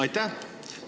Aitäh!